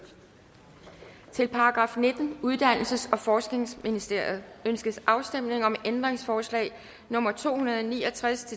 til § nittende uddannelses og forskningsministeriet ønskes afstemning om ændringsforslag nummer to hundrede og ni og tres